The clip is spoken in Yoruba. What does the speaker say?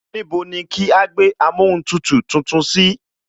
Níbo ni kí á gbé amóhuntutù tuntun sí